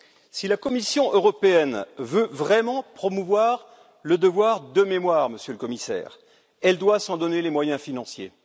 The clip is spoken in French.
Si la Commission européenne veut vraiment promouvoir le devoir de mémoire, Monsieur le Commissaire, elle doit s'en donner les moyens financiers.